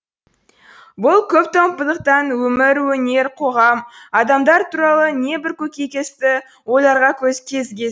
бұл көптомдықтан өмір өнер қоғам адамдар туралы небір көкейкесті ойларға көз кезіге